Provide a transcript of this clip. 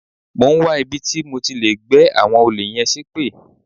Mò ń wá ibi tí mo ti lè gbẹ́ àwọn olè yẹn ṣépè.